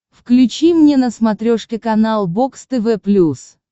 включи мне на смотрешке канал бокс тв плюс